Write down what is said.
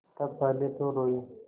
तब पहले तो रोयी